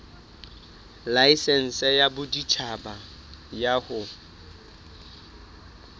laesense ya boditjhaba ya ho